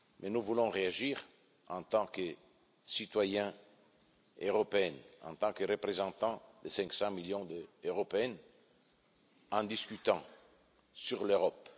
Nous voulons réagir en tant que citoyens européens, en tant que représentants de 500 millions d'Européens, en discutant de l'Europe.